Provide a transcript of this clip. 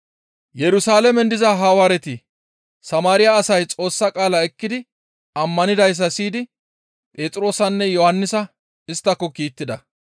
Yerusalaamen diza Hawaareti Samaariya asay Xoossa qaala ekkidi ammanidayssa siyidi Phexroosanne Yohannisa isttako kiittida.